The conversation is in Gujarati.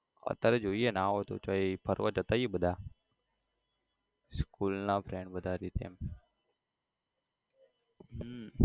અત્યારે જોઈએ ના હોય તો ચોય ફરવા જતા આઇએ બધા school ના friend બધા આ રીતે હમ